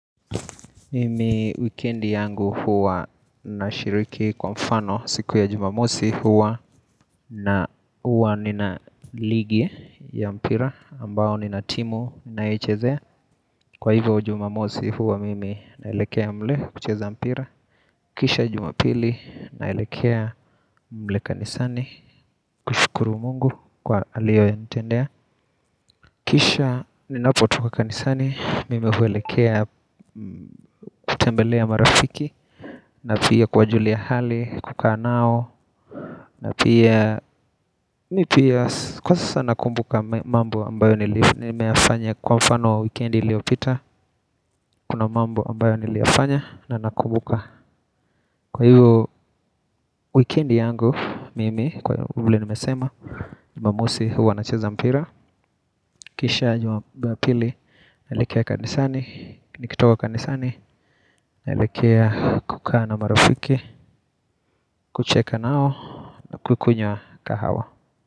Mimi wikendi yangu huwa nashiriki kwa mfano siku ya jumamosi huwa na huwa nina ligi ya mpira ambayo nina timu ninayoichezea Kwa hivyo jumamosi huwa mimi naelekea mle kucheza mpira Kisha jumapili naelekea mle kanisani kushukuru mungu kwa aliyonitendea Kisha ninapo toka kanisani, mimi huelekea kutembelea marafiki na pia kuwajulia hali, kukaa nao na pia, mimi pia kwa sasa nakumbuka mambo ambayo nimeyafanya kwa mfano wa wikendi iliyopita Kuna mambo ambayo niliyafanya na nakumbuka Kwa hivyo wikendi yangu, mimi kwa hivyo vile nimesema jumamosi huwa nacheza mpira Kisha jumapili, naelekea kanisani, nikitoka kanisani naelekea kukaa na marafiki kucheka nao kukunywa kahawa.